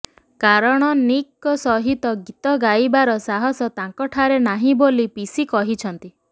କାରଣ ନିକ୍ଙ୍କ ସହିତ ଗୀତ ଗାଇବାର ସାହସ ତାଙ୍କଠାରେ ନାହିଁ ବୋଲି ପିସି କହିଛନ୍ତି